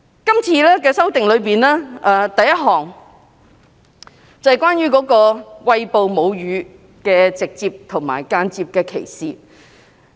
這次要修訂的第一項內容，便是關於餵哺母乳的直接和間接歧視。